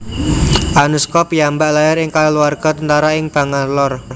Anuskha piyambak lair ing kaluarga tentara ing Bangalore